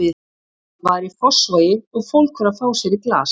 Það var í Fossvogi og fólk var að fá sér í glas.